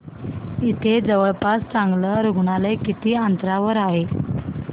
इथे जवळपास चांगलं रुग्णालय किती अंतरावर आहे